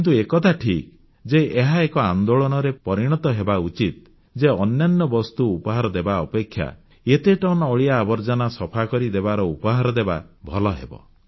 କିନ୍ତୁ ଏକଥା ଠିକ୍ ଯେ ଏହା ଏକ ଆନ୍ଦୋଳନରେ ପରିଣତ ହେବା ଉଚିତ ଯେ ଅନ୍ୟାନ୍ୟ ବସ୍ତୁ ଉପହାରରେ ଦେବା ଅପେକ୍ଷା ଏତେ ଟନ୍ ଅଳିଆଆବର୍ଜନା ସଫା କରିଦେବାର ଉପହାର ଦେବା ଭଲ ହେବ